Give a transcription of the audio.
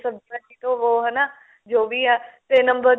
ਸਬਜ਼ੀ ਭਾਜੀ ਧੋਵੋ ਹਨਾ ਜੋ ਵੀ ਆ ਤੇ ਨੰਬਰ